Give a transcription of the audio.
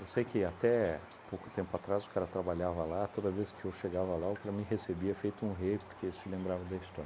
Eu sei que até há pouco tempo atrás o cara trabalhava lá, toda vez que eu chegava lá o cara me recebia feito um rei, porque se lembrava da história.